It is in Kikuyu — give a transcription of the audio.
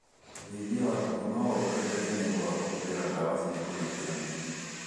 ũrĩithia wa ngũkũ no wongereke niũndũ kũhuthĩra dawa cia kũgitĩra mĩrimũ